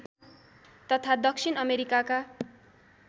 तथा दक्षिण अमेरिकाका